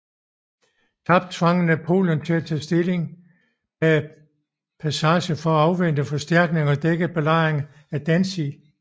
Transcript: Tab tvang Napoleon til at tage stilling bag Passarge for at afvente forstærkning og dække belejringen af Danzig